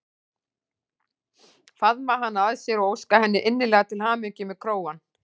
Faðma hana að sér og óska henni innilega til hamingju með krógann.